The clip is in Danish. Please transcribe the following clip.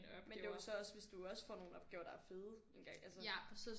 Men det er jo så også hvis du også får nogle opgaver der er fede engang altså